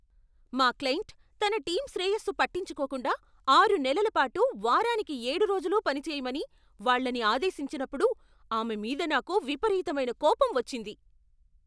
మా క్లయింట్ తన టీమ్ శ్రేయస్సు పట్టించుకోకుండా ఆరు నెలల పాటు వారానికి ఏడు రోజులూ పని చేయమని వాళ్ళని ఆదేశించినప్పుడు, ఆమె మీద నాకు విపరీతమైన కోపం వచ్చింది.